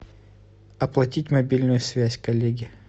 оплатить мобильную связь коллеге